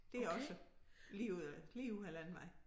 Det er også lige ud af lige ud af æ landevej